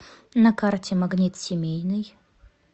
на карте магнит семейный